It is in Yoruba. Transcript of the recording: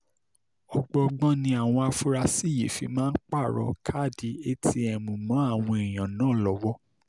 ọgbọọgbọ́n ni àwọn afurasí yìí sì fi máa ń pààrọ̀ káàdì atm mọ́ àwọn èèyàn náà lọ́wọ́